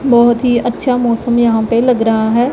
बहुत ही अच्छा मौसम यहां पे लग रहा है।